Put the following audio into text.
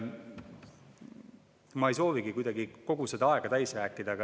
Ma ei soovigi kogu oma aega täis rääkida.